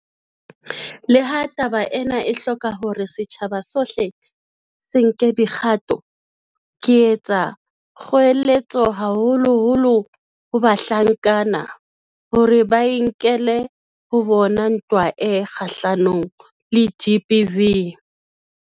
Leha taba ena e hloka hore setjhaba sohle se nke dikgato, ke etsa kgoeletso haholoholo ho bahlankana, hore ba e nkele ho bona ntwa e kgahlanong le GBV.